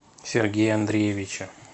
сергея андреевича